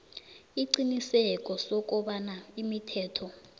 isiqiniseko sokobana imithetho